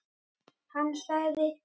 Hann sagði: